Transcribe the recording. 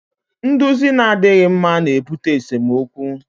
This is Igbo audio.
Nduzi na-adịghị mma na-ebute n'esemokwu